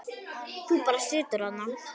Þú bara situr þarna.